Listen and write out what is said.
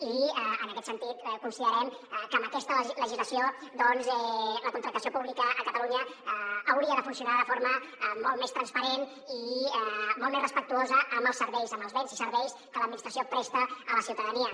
i en aquest sentit considerem que amb aquesta legislació doncs la contractació pública a catalunya hauria de funcionar de forma molt més transparent i molt més respectuosa amb els serveis amb els béns i serveis que l’administració presta a la ciutadania